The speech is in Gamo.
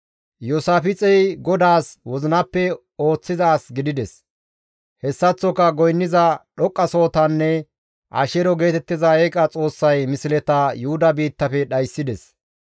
Iyoosaafixey GODAAS wozinappe ooththiza as gidides; hessaththoka goynniza dhoqqasohotanne Asheero geetettiza eeqa xoossay misleta Yuhuda biittafe dhayssides.